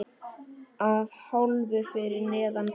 Að hálfu fyrir neðan gras.